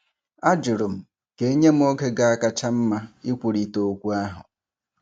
Ajụrụ m ka e nye m oge ga-akacha mma ikwurịta okwu ahụ.